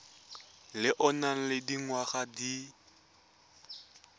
o nang le dingwaga di